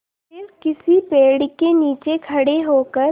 फिर किसी पेड़ के नीचे खड़े होकर